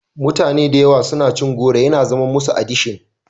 Mutane da yawa suna cin goro yana zamar musu adishin.